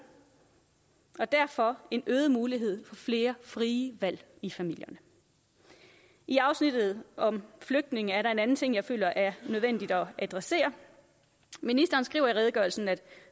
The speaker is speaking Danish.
og derfor en øget mulighed for flere frie valg i familierne i afsnittet om flygtninge er der en anden ting jeg føler er nødvendigt at adressere ministeren skriver i redegørelsen at